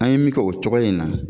An ye min kɛ o cogoya in na.